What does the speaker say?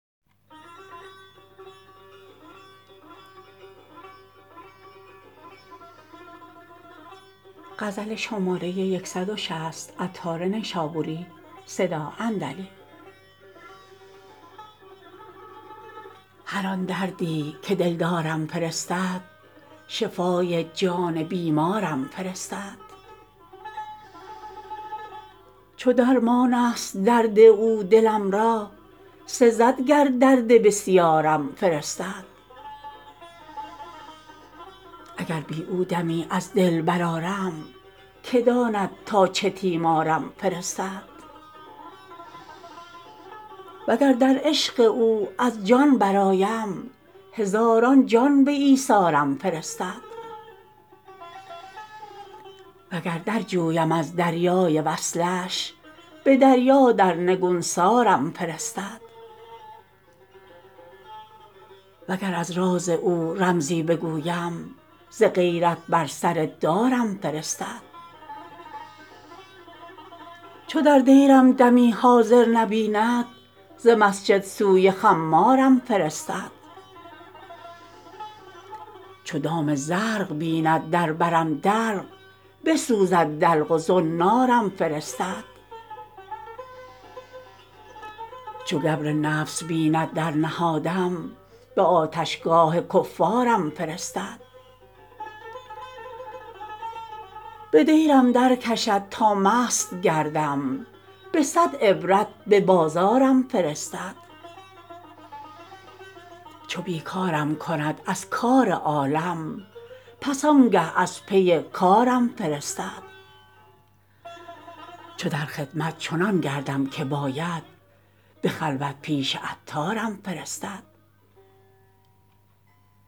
هر آن دردی که دلدارم فرستد شفای جان بیمارم فرستد چو درمان است درد او دلم را سزد گر درد بسیارم فرستد اگر بی او دمی از دل برآرم که داند تا چه تیمارم فرستد وگر در عشق او از جان برآیم هزاران جان به ایثارم فرستد وگر در جویم از دریای وصلش به دریا در نگونسارم فرستد وگر از راز او رمزی بگویم ز غیرت بر سر دارم فرستد چو در دیرم دمی حاضر نبیند ز مسجد سوی خمارم فرستد چو دام زرق بیند در برم دلق بسوزد دلق و زنارم فرستد چو گبر نفس بیند در نهادم به آتشگاه کفارم فرستد به دیرم درکشد تا مست گردم به صد عبرت به بازارم فرستد چو بی کارم کند از کار عالم پس آنگه از پی کارم فرستد چو در خدمت چنان گردم که باید به خلوت پیش عطارم فرستد